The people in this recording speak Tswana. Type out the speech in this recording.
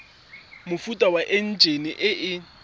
mofuta wa enjine e e